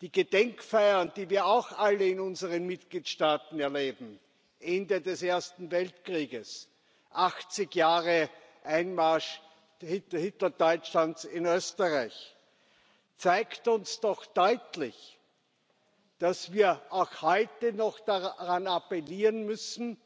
Die Gedenkfeiern, die wir auch alle in unseren Mitgliedstaaten erleben Ende des Ersten Weltkriegs, achtzig Jahre Einmarsch Hitlerdeutschlands in Österreich zeigen uns doch deutlich, dass wir auch heute noch daran appellieren müssen,